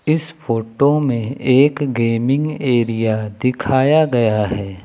इस फोटो में एक गेमिंग एरिया दिखाया गया है।